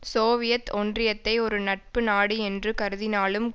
Soviet ஒன்றியத்தை ஒரு நட்பு நாடு என்று கருதினாலும்